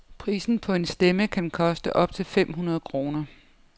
Prisen på en stemme kan koste op til fem hundrede kroner.